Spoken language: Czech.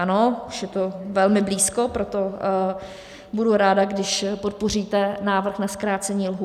Ano, už je to velmi blízko, proto budu ráda, když podpoříte návrh na zkrácení lhůt.